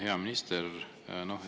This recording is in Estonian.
Hea minister!